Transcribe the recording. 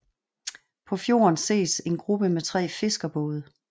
På fjorden ses en gruppe med tre fiskerbåde